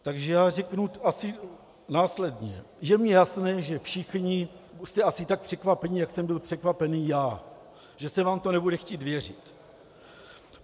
Takže já řeknu asi následně: Je mi jasné, že všichni jste asi tak překvapeni, jak jsem byl překvapený já, že se vám to nebude chtít věřit.